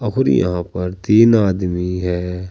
और फिर यहां पर तीन आदमी है।